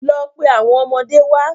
Lọ pe àwọn ọmọdé wá.